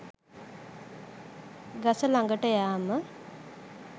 ගස ළඟට යෑම